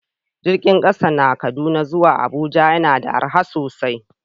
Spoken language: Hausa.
Jirgin kasa na Kaduna zuwa Abuja yana da arha sosai